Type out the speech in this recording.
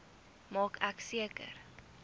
maak ek seker